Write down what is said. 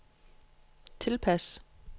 tilpas